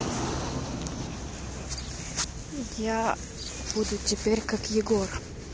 я буду теперь как егор